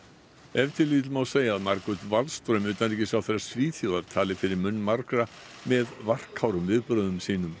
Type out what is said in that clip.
ef til vill má segja að Margot Wallström utanríkisráðherra Svíþjóðar tali fyrir munn margra með varfærnum viðbrögðum sínum